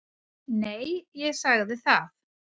Nei, ég sagði það.